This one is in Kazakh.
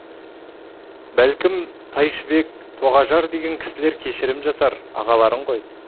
бәлкім тайшыбек тоғажар деген кісілер кешірім жасар ағаларың ғой